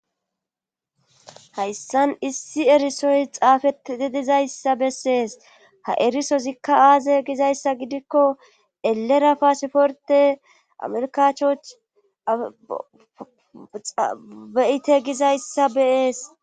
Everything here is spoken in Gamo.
Hayssan issi erisoy xaafetidizayssa bessees ha erisozikka aaze gizayssa gidikko elera paaseforte amerkachchoch beyite gizayssa be'ees.